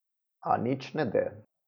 A nič ne de.